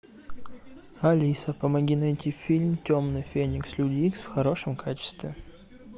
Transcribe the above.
алиса помоги найти фильм темный феникс люди икс в хорошем качестве